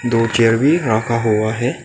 दो चेयर भी रखा हुआ है।